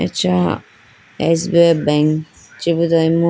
acha S_B_I bank chibudo imu.